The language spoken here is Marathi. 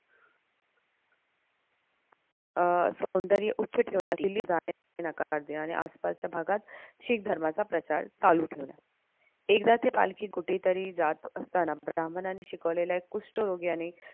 अं सौंदर्य उच्च ठेवण्यास नकार दिला आणि आसपासच्या भागात शीख धर्माचा प्रचार चालू ठेवला. एकदा ती पालखी कुठे तरी जात असताना ब्राह्मणांनी शिकवलेल्या कृष्ठरोग्याने